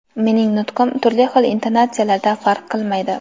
Mening nutqim turli xil intonatsiyalarda farq qilmaydi.